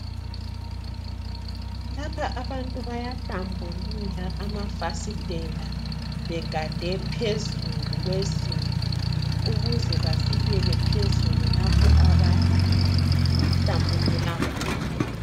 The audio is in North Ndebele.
Lapha abantu bayahlambulula amafasitela begade phezulu kwezinto. Ukuze bafikele phezulu lapho abahlambulula khona.